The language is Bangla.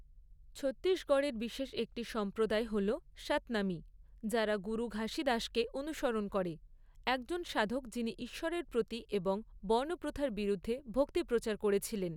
ছত্তিশগড়ের বিশেষ একটি সম্প্রদায় হল সাতনামি, যারা গুরু ঘাসীদাসকে অনুসরণ করে, একজন সাধক যিনি ঈশ্বরের প্রতি এবং বর্ণপ্রথার বিরুদ্ধে ভক্তি প্রচার করেছিলেন।